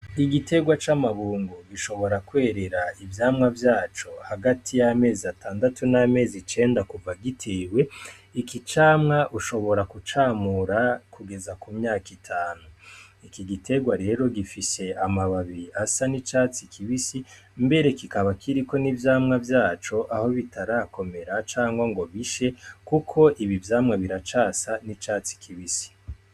Igitegwa c'amabungu gishobora kwerera ivyamwa vyaco hagati y'amezi atandatu n'amezi cenda kuva gitewe iki camwa ushobora kucamura kugeza ku myaka itanu iki giterwa rero gifishe amababiri asa n'icatsi kibisi mbere kikaba kiriko n'ivyamwa vyaco aho bitarakomera cangwa ngo bishe, kuko ibi vyamwe biracasa n'icatsi kibise.